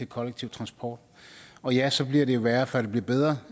kollektiv transport og ja så bliver det værre før det bliver bedre